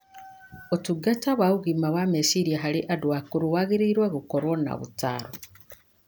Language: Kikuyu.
Ũtungata wa ũgima wa meciria harĩ andũ akũrũ wagĩrĩirũo gũkorũo na ũtaaro